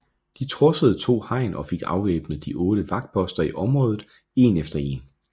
De trodsede to hegn og fik afvæbnet de otte vagtposter i området en efter en